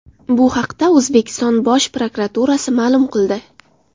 Bu haqda O‘zbekiston Bosh prokuraturasi ma’lum qildi .